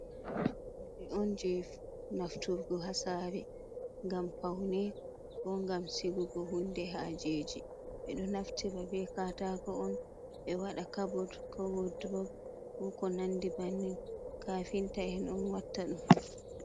Be on je nafturgo ha sare. Gam paune ko gam sigugo hunde hajeji. Be do nafti be katako on. Be wada kabood ko wolɗrob, ko ko nandi bannin. Kafinta en on watta dum.